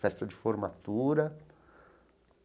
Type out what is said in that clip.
Festa de formatura.